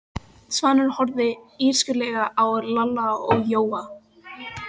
Svanur horfði illskulega á Lalla og Jóa.